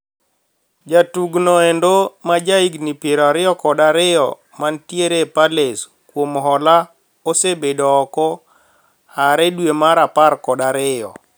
Jatug no endo ma jahigni piero ariyo kod ariyo mantiere Palace kuom hola osebedo ooko aare dwee mar apar kod ariyo.